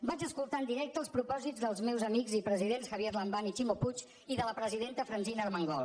vaig escoltar en directe els propòsits dels meus amics i presidents javier lambán i ximo puig i de la presidenta francina armengol